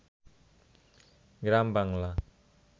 গ্রামবাংলা